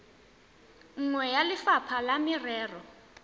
nngwe ya lefapha la merero